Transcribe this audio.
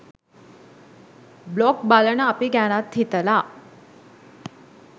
blog බලන අපි ගැනත් හිතලා